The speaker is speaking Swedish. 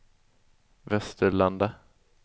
Västerlanda